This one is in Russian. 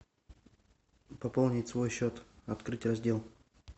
пополнить свой счет открыть раздел